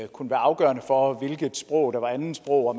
kunne være afgørende for hvilket sprog der var andetsprog og